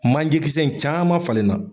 Manje kisɛ in caman falen na.